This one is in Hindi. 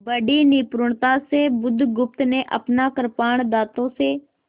बड़ी निपुणता से बुधगुप्त ने अपना कृपाण दाँतों से